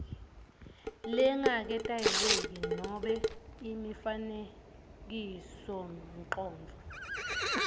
langaketayeleki nobe imifanekisomcondvo